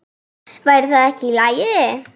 Væri það ekki í lagi?